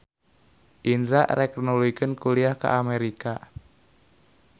Indra rek nuluykeun kuliah ka Amerika